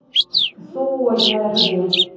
суоярви